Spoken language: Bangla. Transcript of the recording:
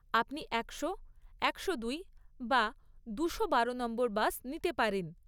আপনি একশো, একশো দুই, বা দুশো বারো নম্বর বাস নিতে পারেন।